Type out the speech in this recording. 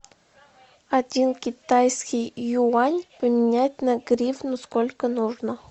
один китайский юань поменять на гривну сколько нужно